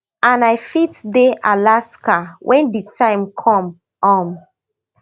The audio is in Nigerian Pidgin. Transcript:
and i fit dey alaska wen di time come um